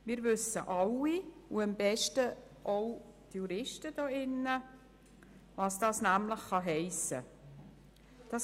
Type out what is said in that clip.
Wir wissen alle und insbesondere auch die Juristen im Grossen Rat, was das heissen kann.